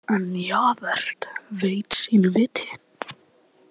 En Javert veit sínu viti.